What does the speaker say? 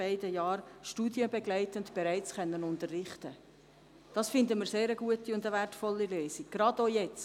Sie haben sehr viele Vorschläge vorgebracht.